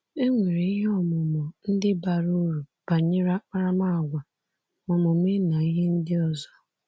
E nwere ihe ọmụmụ ndị bara uru banyere akparamàgwà, omume na ihe ndị ọzọ.